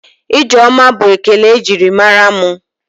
Ijeoma bụ ekele e jiri mara mụ.